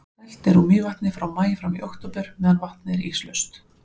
dælt er úr mývatni frá maí fram í október meðan vatnið er íslaust